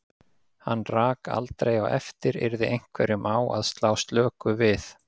Hann rak aldrei á eftir yrði einhverjum á að slá slöku við.